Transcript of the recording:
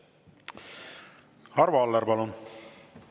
Arvo Aller, palun!